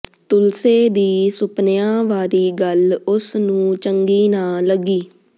ਤੁਲਸੇ ਦੀ ਸੁਪਨਿਆਂ ਵਾਲੀ ਗੱਲ ਉਸਨੂੰ ਚੰਗੀ ਨਾ ਲੱਗੀ